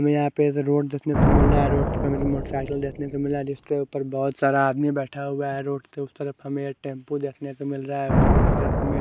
ये यहाँ पे जो रोड देखने को मिल रहा रोड के ऊपर मोटरसाइकिल देखने को मिल रहा है जिसके ऊपर बहोत सारा आदमी बैठा हुआ है रोड के उस तरफ हमे एक टेम्पू देखने को मिल रहा है सके ऊपर हमे--